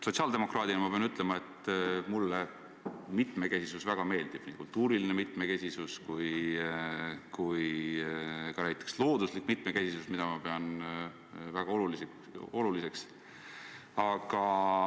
Sotsiaaldemokraadina ma pean ütlema, et mulle mitmekesisus väga meeldib – nii kultuuriline mitmekesisus kui ka näiteks looduslik mitmekesisus, mida ma pean väga oluliseks.